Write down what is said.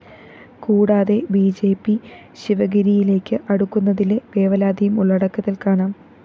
കൂടാതെ B J P ശിവഗിരിയിലേക്ക് അടുക്കുന്നതിലെ വേവലാതിയും ഉള്ളടക്കത്തില്‍ കാണാം